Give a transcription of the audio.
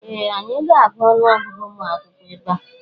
Ee! Anyị ga-agụ ọnụọgụgụ ụmụ akwụkwọ ebe a.